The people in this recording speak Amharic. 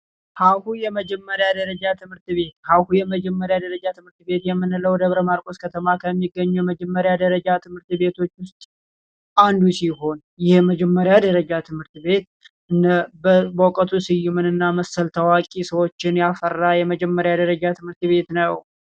ሀሁ የመጀመሪያ ደረጃ ትምህርት ቤት ሀሁ የመጀመሪያ ደረጃ ትምህርት ቤትየምንለው ደብረ ማርቆስ ከተማ ከሚገኙ የመጀመሪያ ደረጃ። ትምህርት ቤቶች ውስጥ አንዱ ሲሆን ይህ የመጀመሪያ ደረጃ ትምህርት ቤት እነ በውቀቱ ስዩም መሰል ታዋቂ ሰዎችን ያፈራል የመጀመሪያ ደረጃ ትምህርት ቤት ነው።